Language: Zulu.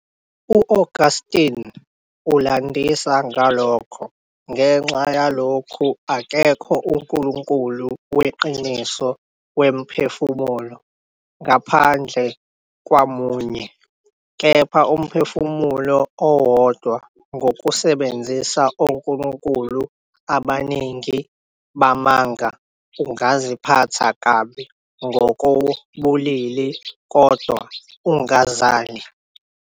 U-Augustine ulandisa ngalokho- "Ngenxa yalokhu akekho uNkulunkulu Weqiniso wemiphefumulo, ngaphandle kwaMunye- kepha umphefumulo owodwa ngokusebenzisa onkulunkulu abaningi bamanga ungaziphatha kabi ngokobulili, kodwa ungazali."